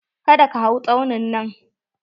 Ka da ka hau tsaunin nan!